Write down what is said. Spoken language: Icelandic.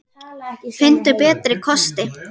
Finndu betri kosti!